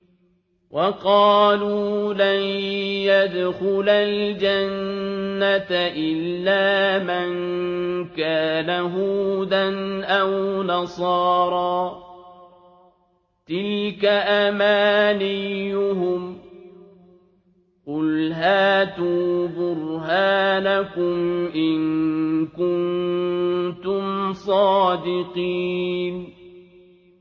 وَقَالُوا لَن يَدْخُلَ الْجَنَّةَ إِلَّا مَن كَانَ هُودًا أَوْ نَصَارَىٰ ۗ تِلْكَ أَمَانِيُّهُمْ ۗ قُلْ هَاتُوا بُرْهَانَكُمْ إِن كُنتُمْ صَادِقِينَ